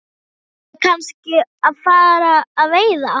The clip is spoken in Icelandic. Eigum við kannski að fara að veiða?